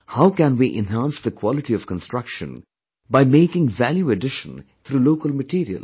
How can we enhance the quality of construction by making value addition through local materials